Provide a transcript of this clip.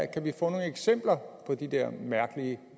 kan vi få nogle eksempler på de der mærkelige